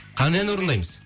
қандай ән орындаймыз